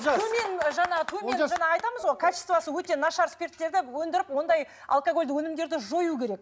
жаңа айтамыз ғой качествосы өте нашар спирттерді өндіріп ондай алкогольді өнімдерді жою керек